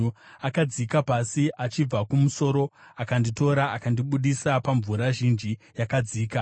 Akadzika pasi achibva kumusoro akanditora; akandibudisa pamvura zhinji yakadzika.